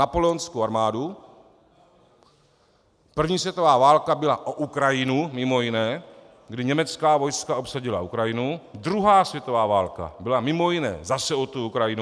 Napoleonskou armádu, první světová válka byla o Ukrajinu mimo jiné, kdy německá vojska obsadila Ukrajinu, druhá světová válka byla mimo jiné zase o tu Ukrajinu.